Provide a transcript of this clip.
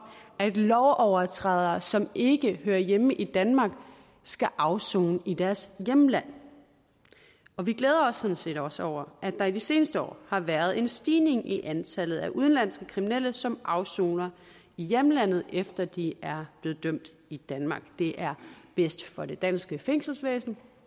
at lovovertrædere som ikke hører hjemme i danmark skal afsone i deres hjemland og vi glæder os sådan set også over at der i de seneste år har været en stigning i antallet af udenlandske kriminelle som afsoner i hjemlandet efter at de er blevet dømt i danmark det er bedst for det danske fængselsvæsen